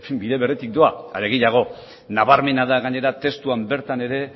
bide beretik doa are gehiago nabarmena da gainera testuan bertan ere